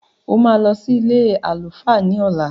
O máa lọ sí ilé àlùfáà ní ọ̀la.